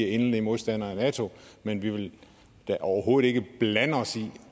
endelig er modstandere af nato men vi vil da overhovedet ikke blande os i